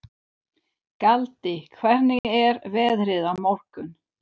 Galti, hvernig er veðrið á morgun?